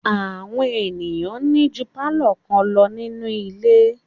Àwọn èèyàn ní ju pálọ̀ kan lọ nínu ilé